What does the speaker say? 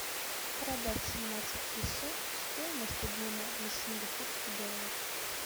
продать семнадцать песо стоимость обмена на сингапурский доллар